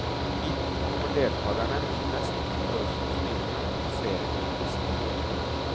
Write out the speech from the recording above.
Hit kommer deltagerne med de mest pompøse kostymene og poserer for turistene.